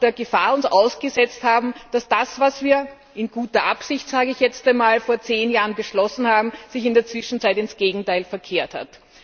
der Gefahr ausgesetzt haben, dass das, was wir in guter Absicht sage ich jetzt einmal vor zehn Jahren beschlossen haben, sich in der Zwischenzeit ins Gegenteil verkehrt hat.